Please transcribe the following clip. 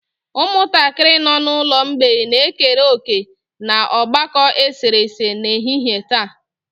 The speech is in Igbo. Ụmụntakịrị nọ n'ụlọ mgbei na-ekere òkè n'ogbako eserese n'ehihie taa.